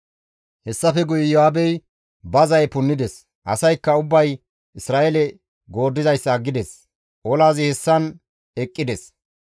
Hessafe guye Iyo7aabey ba zaye punnides; asaykka ubbay Isra7eele gooddizayssa aggides. Olazi hessan eqqides.